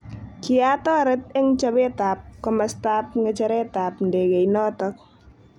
Kiatoret eng chobetab komastab ng'echeretab ndekeitnotok.